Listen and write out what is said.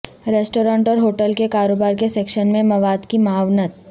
restaurant اور hotel کے کاروبار کے سیکشن میں مواد کی معاونت